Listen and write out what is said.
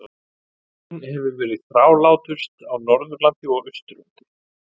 Veikin hefur verið þrálátust á Norðurlandi og Austurlandi.